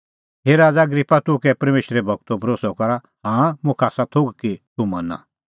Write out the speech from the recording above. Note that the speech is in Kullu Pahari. हे राज़ा अग्रिप्पा तूह कै परमेशरे गूरो भरोस्सअ करा हाँ मुखा आसा थोघ कि तूह मना